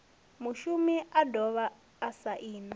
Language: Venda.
mushumi a dovha a saina